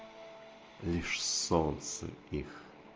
лишь солнце их